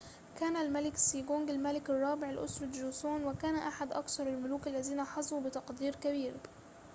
كان الملك سيجونغ الملك الرابع لأسرة جوسون وكان أحد أكثر الملوك الذين حظوا بتقدير كبير